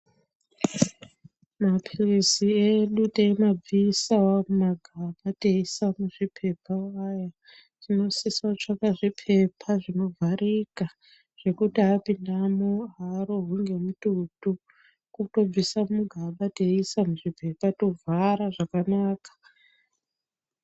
Mapirizi edu teimabvisawo mumagaba teiisa muzvipepa waya tinosisa kutsvaka zvipepa zvinovharika zvekuti apindamwo aarohwi ngemututu kutobvisa muzvigaba teiisa muzvipepa tovhara zvakanaka.